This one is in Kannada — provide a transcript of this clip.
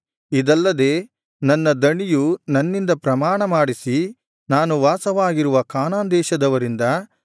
ಇದಲ್ಲದೆ ನನ್ನ ದಣಿಯು ನನ್ನಿಂದ ಪ್ರಮಾಣ ಮಾಡಿಸಿ ನಾನು ವಾಸವಾಗಿರುವ ಕಾನಾನ್ ದೇಶದವರಿಂದ ನನ್ನ